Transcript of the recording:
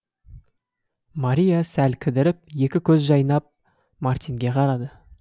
мария сәл кідіріп екі көзі жайнап мартинге қарады